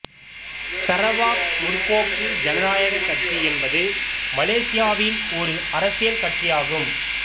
Sarawak முற்போக்கு ஜனநாயக கட்சி என்பது மலேசியாவில் ஓர் அரசியல் கட்சியாகும்